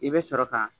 I bɛ sɔrɔ ka